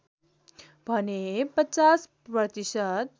भने ५० प्रतिशत